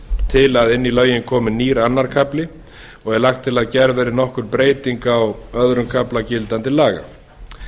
til að inn í lögin komi nýr annar kafli og er lagt til að gerð verði nokkur breyting á öðrum kafla gildandi laga